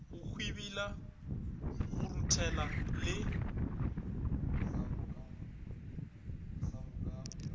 go hwibila go ruthela le